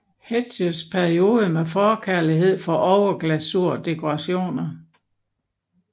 Hetschs periode med forkærlighed for overglasurdekorationer